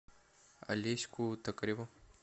алеську токареву